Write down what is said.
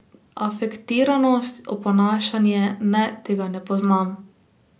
Afektiranost, oponašanje, ne, tega ne poznam.